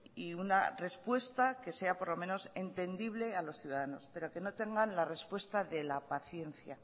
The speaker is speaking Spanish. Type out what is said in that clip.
y una respuesta que sea por lo menos entendible a los ciudadanos pero que no tengan la respuesta de la paciencia